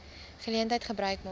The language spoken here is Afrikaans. geleentheid gebruik maak